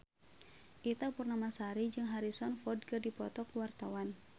Ita Purnamasari jeung Harrison Ford keur dipoto ku wartawan